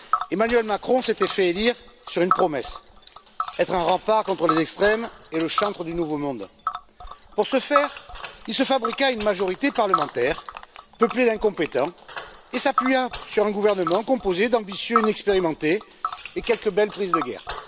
Emmanuel Macron s'était fait élire sur une promesse être un rempart contre les extrêmes et le chantre du nouveau monde. Pour ce faire, il se fabriqua une majorité parlementaire peuplée d'incompétents et s'appuya sur un gouvernement composé d'ambitieux inexpérimentés et de quelques belles prises de guerre.